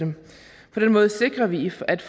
at